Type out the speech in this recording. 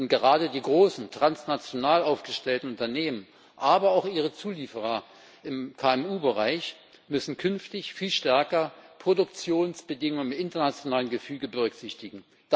Denn gerade die großen transnational aufgestellten Unternehmen, aber auch ihre Zulieferer im KMU Bereich müssen künftig viel stärker Produktionsbedingungen im internationalen Gefüge berücksichtigen.